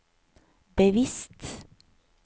bevisst